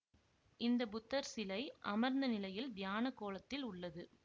இந்த புத்தர் சிலை அமர்ந்த நிலையில் தியான கோலத்தில் உள்ளது